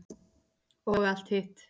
Og allt hitt.